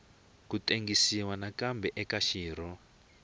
ku tengisiwa nakambe eka xirho